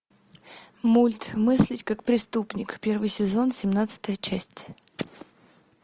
мульт мыслить как преступник первый сезон семнадцатая часть